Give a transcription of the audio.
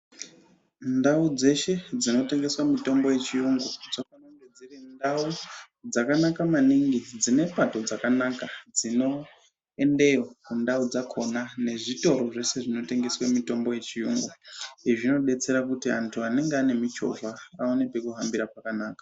Ndau dzeshe dzitengesa mutambo yechiyungu dzinofanirwa kunge dziri ndau dzakanaka maningi dzinepato dzakanaka dzinoendeyo kundau dzakona mezvitoro zvesez vinotengesa mutombo yechiyungu izvo zvinodetsera kuti vandu vanenge vane muchovha vahambe zvakanaka .